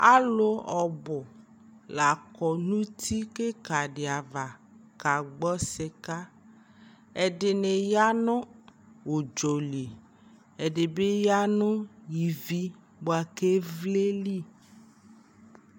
alʋ ɔbʋ lakɔ nʋ ʋti kikaa di aɣa ka gbɔ sika, ɛdini yanʋ ʋdzɔli ɛdibi yanʋ ivi bʋakʋ ɛvlɛ li